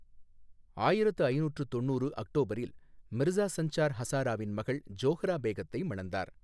ஆயிரத்து ஐநூற்று தொண்ணூறு அக்டோபரில், மிர்சா சஞ்சார் ஹசாராவின் மகள் ஜோஹ்ரா பேகத்தை மணந்தார்.